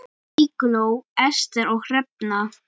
Eygló, Ester og Hrefna.